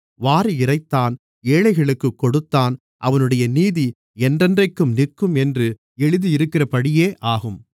வாரி இறைத்தான் ஏழைகளுக்குக் கொடுத்தான் அவனுடைய நீதி என்றென்றைக்கும் நிற்கும் என்று எழுதியிருக்கிறபடியே ஆகும்